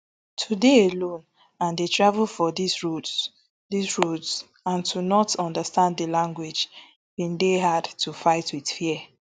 to dey alone and dey travel for dis roads dis roads and to not understand di language bin dey hard to fight wit fear